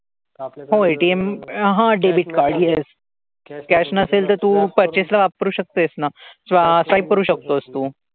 हो ATM हां debit card yes. cash नसेल तर तू purchase ला वापरू शकतोस ना. swipe करू शकतोस तू.